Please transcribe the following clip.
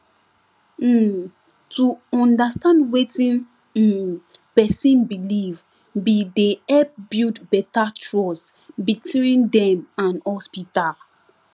um to understand wetin um pesin believe be dey help build beta trust between dem and hospital